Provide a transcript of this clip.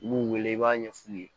I b'u wele i b'a ɲɛ f'u ye